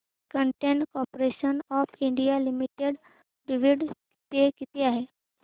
container corporation of India limited dividend पे किती आहे